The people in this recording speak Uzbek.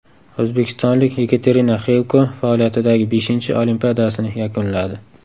O‘zbekistonlik Yekaterina Xilko faoliyatidagi beshinchi Olimpiadasini yakunladi.